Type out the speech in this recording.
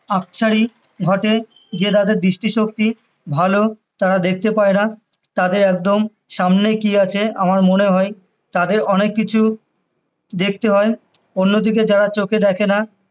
আকছার ই ঘটে যে তাদের দৃষ্টি শক্তি ভালো তারা দেখতে পায়না তাদের একদম সামনে কি আছে আমার মনে হয় তাদের অনেককিছু দেখতে হয় অন্যদিকে যারা চোখে দ্যাখে না